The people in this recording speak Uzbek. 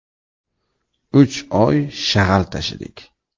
Uch oy shag‘al tashidik.